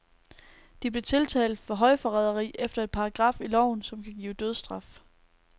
De blev tiltalt for højforræderi efter en paragraf i loven, som kan give dødsstraf.